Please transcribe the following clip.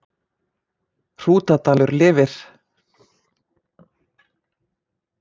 Hrútadalur lifir